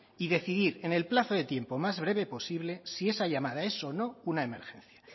y decidir en el plazo de tiempo más breve posible si esa llamada es o no una emergencia